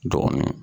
Dɔgɔnɔ